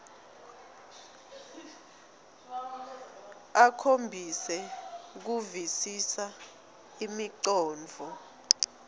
akhombise kuvisisa imicondvo